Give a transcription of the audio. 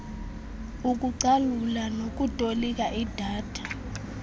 ukucalula nokutolika idata